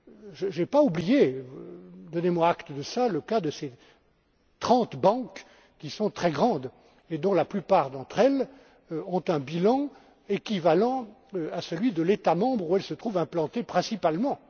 Je n'ai pas oublié, donnez moi acte de cela, le cas de ces trente banques, qui sont très grandes, et dont la plupart ont un bilan équivalent à celui de l'État membre où elles se trouvent implantées principalement.